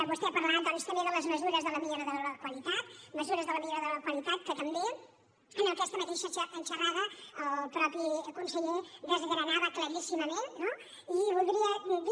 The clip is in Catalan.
vostè ha parlat doncs també de les mesures de la millora de la qualitat que també en aquesta mateixa xerrada el mateix conseller desgranava claríssimament no i voldria dir